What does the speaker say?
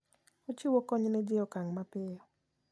Ochiwo kony ne ji e okang' mapiyo.